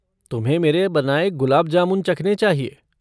तुम्हें मेरे बनाए गुलाब जामुन चखने चाहिये।